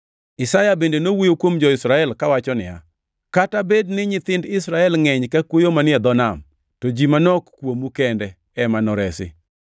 Isaya bende nowuoyo kuom jo-Israel kawacho niya, “Kata bed ni nyithind Israel ngʼeny ka kwoyo manie dho nam, to ji manok kuomu kende ema noresi.